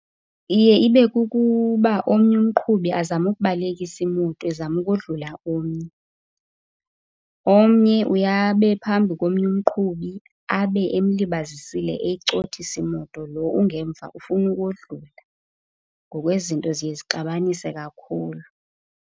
Iye ibe kukuba omnye umqhubi azame ukubalisekisa imoto ezama ukodlula omnye. Omnye uye abe phambi komnye umqhubi abe emlibazisile, eyicothisa imoto, loo ungemva ufuna ukodlula. Ngoku ezi zinto ziye zixabanise kakhulu.